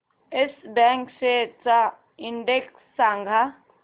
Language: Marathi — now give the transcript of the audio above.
येस बँक शेअर्स चा इंडेक्स सांगा